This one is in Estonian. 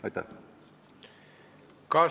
Aitäh!